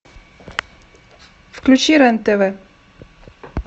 включи рен тв